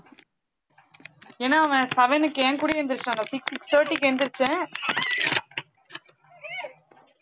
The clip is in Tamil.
ஏன்னா அவன் seven க்கு என் கூடயே எந்திரிச்சிடான்டா six thirty க்கு எந்திரிச்சேன்